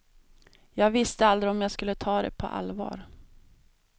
Jag visste aldrig om jag skulle ta det på allvar.